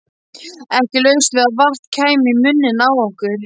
Ekki laust við að vatn kæmi í munninn á okkur.